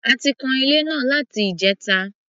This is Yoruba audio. A ti kan ilé náà láti ìjẹta.